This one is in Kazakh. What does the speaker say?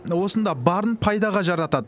осында барын пайдаға жаратады